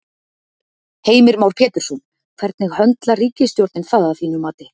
Heimir Már Pétursson: Hvernig höndlar ríkisstjórnin það að þínu mati?